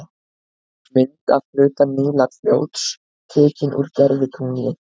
Mynd af hluta Nílarfljóts, tekin úr gervitungli.